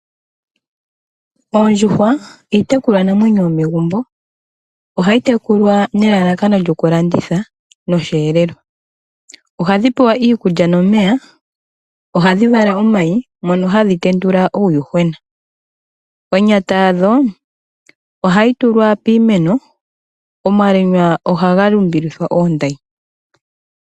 Oondjuhwa iitekulwa namwenyo yomegumbo, ohayi tekulwa nelalakano lyokulanditha nosheelelwa. Ohadhi pewa iikulya nomeya nokuvala omayi mono hadhi tendula uuyuhwena. Onyata yadho ohayi tulwa piimeno omanga omalwenya ohaga lumbilithwa oondayi.